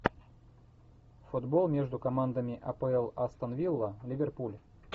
футбол между командами апл астон вилла ливерпуль